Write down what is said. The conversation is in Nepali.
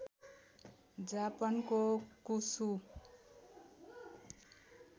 जापानको कुसु